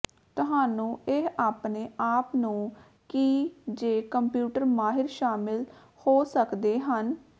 ਤੁਹਾਨੂੰ ਇਹ ਆਪਣੇ ਆਪ ਨੂੰ ਕੀ ਜ ਕੰਪਿਊਟਰ ਮਾਹਿਰ ਸ਼ਾਮਲ ਹੋ ਸਕਦੇ ਹਨ